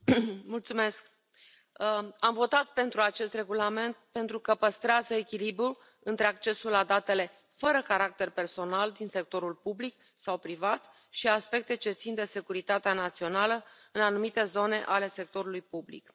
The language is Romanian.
Doamnă președintă, am votat pentru acest regulament pentru că păstrează echilibrul între accesul la datele fără caracter personal din sectorul public sau privat și aspecte ce țin de securitatea națională în anumite zone ale sectorului public.